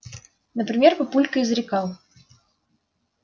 например папулька изрекал